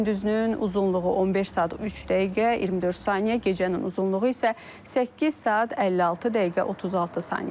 Gündüzünün uzunluğu 15 saat 3 dəqiqə 24 saniyə, gecənin uzunluğu isə 8 saat 56 dəqiqə 36 saniyədir.